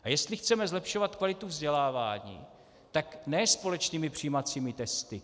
A jestli chceme zlepšovat kvalitu vzdělávání, tak ne společnými přijímacími testy.